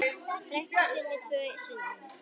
frænku sinni í tvö sumur.